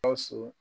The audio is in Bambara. Gawusu